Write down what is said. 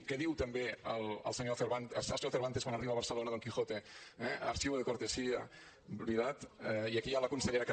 què diu també el senyor cervantes quan arriba a barcelona don quijote eh archivo de cortesía veritat i aquí hi ha la consellera que